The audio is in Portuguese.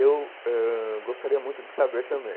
Eu ãh gostaria muito de saber também.